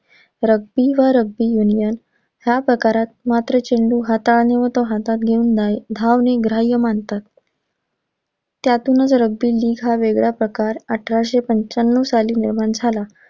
Rugby व Rugby union ह्या प्रकारात मात्र चेंडू हाताने व तो हातात घेऊन धा~धावणे ग्राह्य मानतात. त्यातूनच rugby d हा वेगळा प्रकार अठराशे पंचाण्णव साली निर्माण झाला.